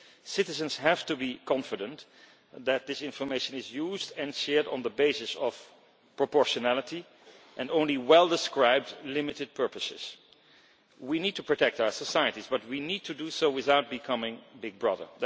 Citizens have to be confident that this information is used and shared on the basis of proportionality and only for well described limited purposes. We need to protect our societies but we need to do so without becoming Big Brother.